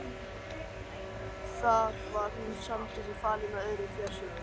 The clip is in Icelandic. Þar var hún samstundis falin með öðrum fjársjóðum.